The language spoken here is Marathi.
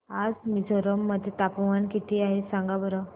आज मिझोरम मध्ये तापमान किती आहे सांगा बरं